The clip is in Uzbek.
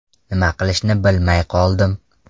Nima qilishni bilmay qoldim.